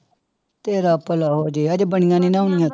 ਤੇਰਾ ਭਲਾ ਹੋ ਜਾਏ ਹਜੇ ਬਣੀਆਂ ਨੀ ਨਾ ਹੋਈਆਂ।